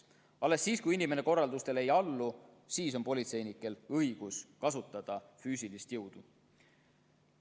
Alles siis, kui inimene korraldustele ei allu, on politseinikel õigus kasutada füüsilist jõudu.